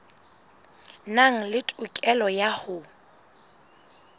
nang le tokelo ya ho